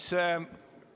Selge.